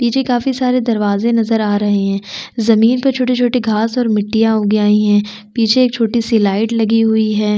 पीछे काफी सारे दरवाजे नज़र आ रहे है जमीन पर छोटे - छोटे घास और मिट्टियाँ उग आयी है पीछे एक छोटी सी लाइट लगी हुई है।